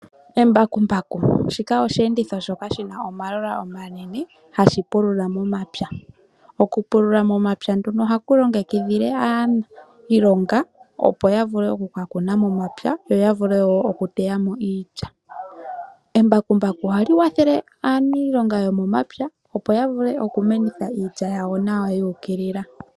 Embakumbaku olyo oshiyenditho shoka shina omalola omanene hashi pulula momapya. Okupulula momapya nduno ohaku longekidhile aantu iilonga opo yavule okuka kuna momapya yo yavule woo okuteyamo iilya. Embakumbaku ohali kwathele aanilonga yomomapya opo yavule okumenitha iilya yawo yuukilila.